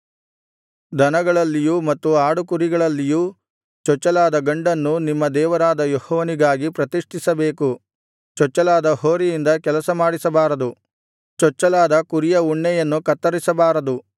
ದನಗಳಲ್ಲಿಯೂ ಮತ್ತು ಆಡುಕುರಿಗಳಲ್ಲಿಯೂ ಚೊಚ್ಚಲಾದ ಗಂಡನ್ನು ನಿಮ್ಮ ದೇವರಾದ ಯೆಹೋವನಿಗಾಗಿ ಪ್ರತಿಷ್ಠಿಸಬೇಕು ಚೊಚ್ಚಲಾದ ಹೋರಿಯಿಂದ ಕೆಲಸಮಾಡಿಸಬಾರದು ಚೊಚ್ಚಲಾದ ಕುರಿಯ ಉಣ್ಣೆಯನ್ನು ಕತ್ತರಿಸಬಾರದು